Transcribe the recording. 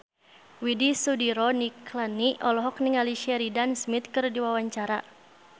Widy Soediro Nichlany olohok ningali Sheridan Smith keur diwawancara